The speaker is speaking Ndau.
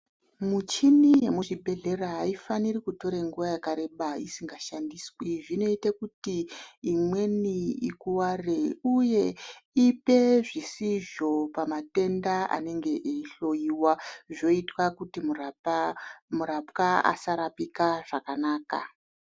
Muchini yemuzvibhedhlera aifaniri kutora nguwa yakareba isingashandiswi zvinoite kuti imweni ikuware uye ipe zvisizvo pamatenda anenge eihloiwa zvoita kuti murapwa asarapika zvakanaka.